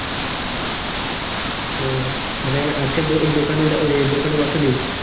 ওহ মানে আজকে দোকানে দোকানে বসোনি ?